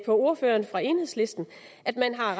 ordføreren fra enhedslisten at man har